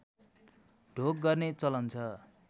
ढोग गर्ने चलन छ